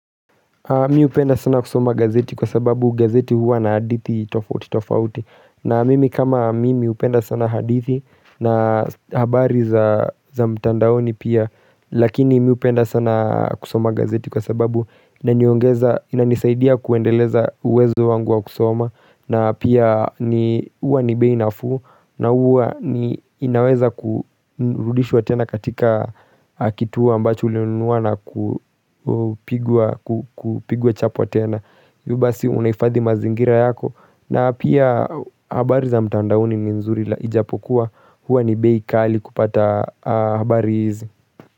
Mi hupenda sana kusoma gazeti kwa sababu gazeti huwa na hadithi tofauti tofauti na mimi kama mimi hupenda sana hadithi na habari za mtandaoni pia Lakini miupenda sana kusoma gazeti kwa sababu kuongeza inanisaidia kuendeleza uwezo wangu wa kusoma na pia ni huwa ni bei nafuu na huwa ni inaweza kurudishwa tena katika kituo ambacho ulinunua na kupigwa chapwa tena hivyo basi unahifadhi mazingira yako na pia habari za mtandaoni ni nzuri ila ijapokuwa Huwa ni bei kali kupata habari hizi.